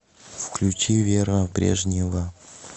включи вера брежнева